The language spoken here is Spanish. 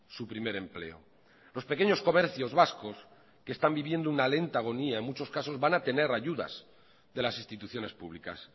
su primer empleo los pequeños comercios vascos que están viviendo una lenta agonía en muchos casos van a tener ayudas de las instituciones públicas